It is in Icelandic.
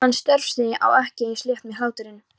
Hann, Stórfurstinn, á ekki eins létt með hláturinn.